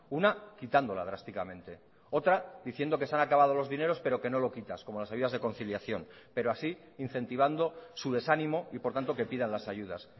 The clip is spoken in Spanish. una quitándola drásticamente otra diciendo que se han acabado los dineros pero que no lo quitas como las ayudas de conciliación pero así incentivando su desánimo y por tanto que pidan las ayudas